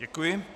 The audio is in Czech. Děkuji.